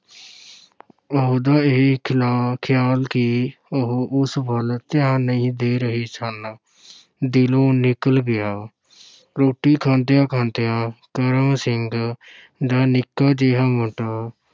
ਉਹਦਾ ਇਹ ਖਿਲਾ, ਖ਼ਿਆਲ ਕਿ ਉਹ ਉਸ ਵੱਲ ਧਿਆਨ ਨਹੀਂ ਦੇ ਰਹੇ ਸਨ ਦਿਲੋਂ ਨਿਕਲ ਗਿਆ ਰੋਟੀ ਖਾਂਦਿਆਂ-ਖਾਂਦਿਆਂ ਕਰਮ ਸਿੰਘ ਦਾ ਨਿੱਕਾ ਜਿਹਾ ਮੁੰਡਾ